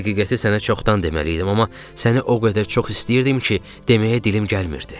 Həqiqəti sənə çoxdan deməliydim, amma səni o qədər çox istəyirdim ki, deməyə dilim gəlmirdi.